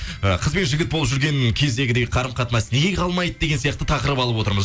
ы қыз бен жігіт болып жүрген кездегідей қарым қатынас неге қалмайды деген сияқты тақырып алып отырмыз